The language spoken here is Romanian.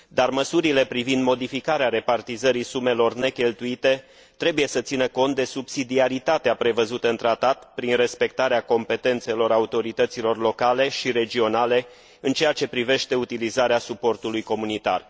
Măsurile privind modificarea repartizării sumelor necheltuite trebuie să țină cont de subsidiaritatea prevăzută în tratat, prin respectarea competențelor autorităților locale și regionale în ceea ce privește utilizarea suportului comunitar.